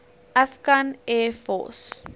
afghan air force